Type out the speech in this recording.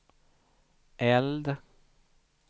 eld